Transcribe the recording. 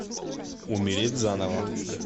умереть заново